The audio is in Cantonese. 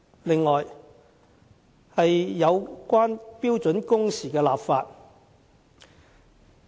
此外，有關標準工時的立法。